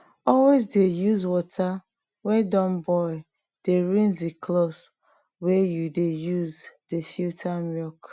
always dey use water wey don boil dey rinse the cloth wey you dey use dey filter milk